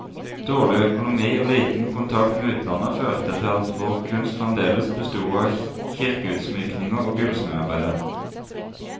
Dårlig økonomi og liten kontakt med utlandet, førte til at vår kunst fremdeles besto av kirkeutsmykninger og gullsmedarbeider.